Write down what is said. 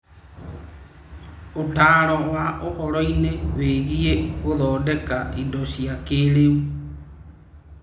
Ũtaaro wa ũhoro-inĩ wĩgiĩ gũthondeka indo cia kĩĩrĩu